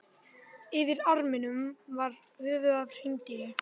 Yfir arninum var höfuð af hreindýri.